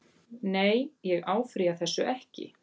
Nei ég áfrýja þessu ekki.